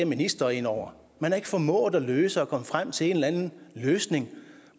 ministre inde over man har ikke formået at løse det og komme frem til en eller anden løsning